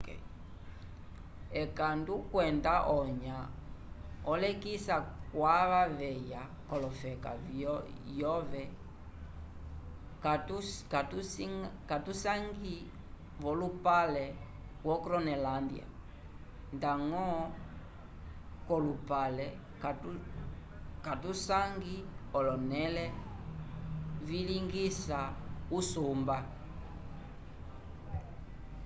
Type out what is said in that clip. ekandu kwenda onyã olekisa kwava veya k'ofeka yove katuyisangi v'olupale wo gronolândia ndañgo kalupale katusangi olonẽle vilingisa usumba